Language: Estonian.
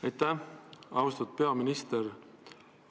Aitäh, austatud istungi juhataja!